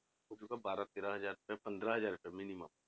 ਹੋ ਜਾਊਗਾ ਬਾਰਾਂ ਤੇਰਾਂ ਹਜ਼ਾਰ ਰੁਪਏ ਪੰਦਰਾਂ ਹਜ਼ਾਰ ਰੁਪਏ minimum